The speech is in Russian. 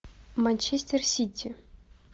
манчестер сити